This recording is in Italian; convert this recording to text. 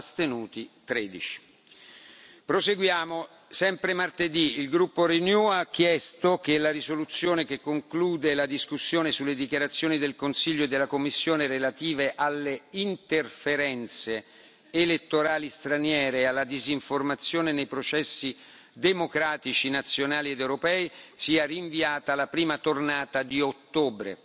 astenuti 13. Martedì Il gruppo Renew ha chiesto che la risoluzione che conclude la discussione sulle dichiarazioni del Consiglio e della Commissione relative alle interferenze elettorali straniere e alla disinformazione nei processi democratici nazionali ed europei sia rinviata alla prima tornata di ottobre.